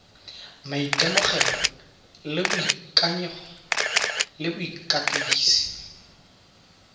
maitemogelo le boikanyego le bokatisi